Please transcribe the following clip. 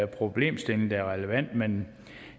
problemstilling der er relevant men